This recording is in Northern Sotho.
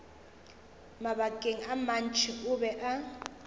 mabakeng a mantši o be